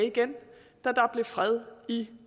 i